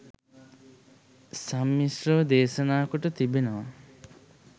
සම්මිශ්‍රව දේශනා කොට තිබෙනවා